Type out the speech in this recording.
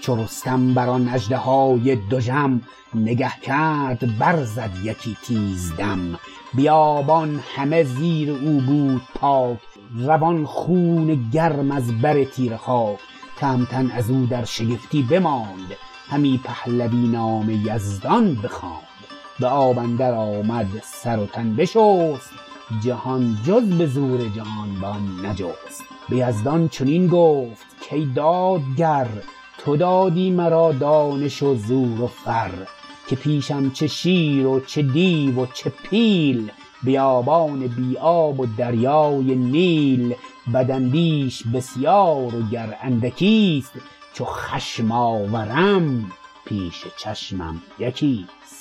چو رستم برآن اژدهای دژم نگه کرد برزد یکی تیز دم بیابان همه زیر او بود پاک روان خون گرم از بر تیره خاک تهمتن ازو در شگفتی بماند همی پهلوی نام یزدان بخواند به آب اندر آمد سر و تن بشست جهان جز به زور جهانبان نجست به یزدان چنین گفت کای دادگر تو دادی مرا دانش و زور و فر که پیشم چه شیر و چه دیو و چه پیل بیابان بی آب و دریای نیل بداندیش بسیار و گر اندکیست چو خشم آورم پیش چشمم یکیست